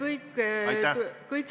Aitäh!